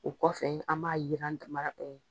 O kɔfɛ an b'a yiran daman